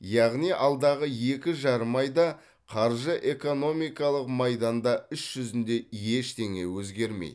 яғни алдағы екі жарым айда қаржы экономикалық майданда іс жүзінде ештеңе өзгермейді